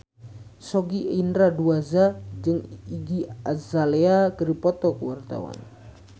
Sogi Indra Duaja jeung Iggy Azalea keur dipoto ku wartawan